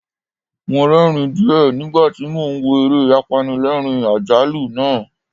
Mo rẹ́ẹ̀rín díẹ̀ nígbà tí mo ń wo eré apanilẹ́ẹ̀rín-àjálù náà.